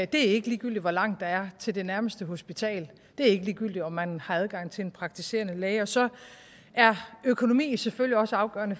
det er ikke ligegyldigt hvor langt der er til det nærmeste hospital det er ikke ligegyldigt om man har adgang til en praktiserende læge og så er økonomi selvfølgelig også afgørende